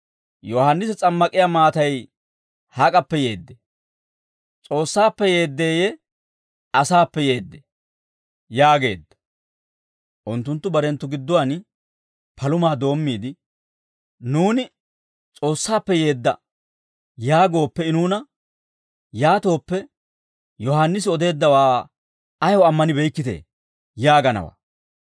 Yohaannisi s'ammak'iyaa maatay hak'appe yeeddee? S'oossaappe yeeddeyye asaappe yeeddee?» yaageedda. Unttunttu barenttu gidduwaan palumaa doommiide, «Nuuni, ‹S'oossaappe yeedda› yaagooppe I nuuna, ‹Yaatooppe, Yohaannisi odeeddawaa ayaw ammanibeykkitee?› yaaganawaa.